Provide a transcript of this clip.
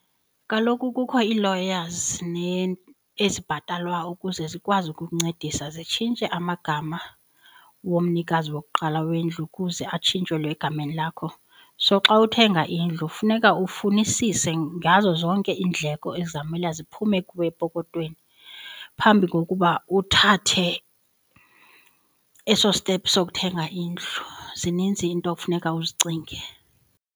Kaloku kukho ii-lawyers ezibhatalwa ukuze zikwazi ukukuncedisa zitshintshe amagama womnikazi wokuqala wendlu ukuze atshintshelwe egameni lakho. So xa uthenga indlu funeka ufunisise ngazo zonke iindleko ezizawumela ziphume kuwe epokothweni phambi kokuba uthathe eso stephu sokuthenga indlu. Zininzi iinto funeka uzicinge.